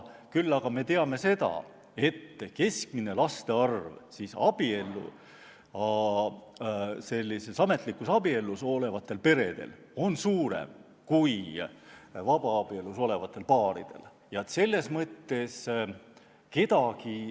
Küll aga me teame, et keskmine laste arv on ametlikus abielus olevatel paaridel suurem kui vabaabielus olevatel paaridel.